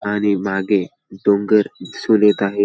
आणि मागे डोंगर दिसून येत आहे.